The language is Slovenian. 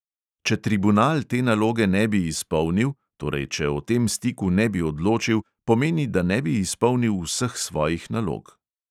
Če tribunal te naloge ne bi izpolnil, torej če o tem stiku ne bi odločil, pomeni, da ne bi izpolnil vseh svojih nalog.